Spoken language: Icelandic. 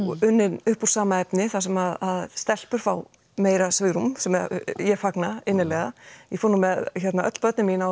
unnin úr sama efni þar sem stelpur fá meira svigrúm sem ég fagna innilega ég fór með öll börnin mín á